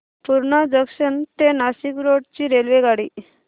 Purna junction ते Nashik road ची रेल्वेगाडी